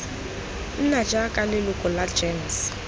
nna jaaka leloko la gems